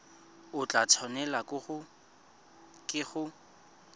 o tla tshwanelwa ke go